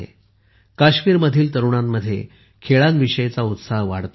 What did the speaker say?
काश्मीरमधील तरुणांमध्ये खेळांविषयी उत्साह वाढतो आहे